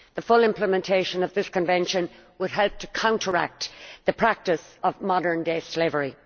The full implementation of this convention would help to counteract the practice of modern day slavery.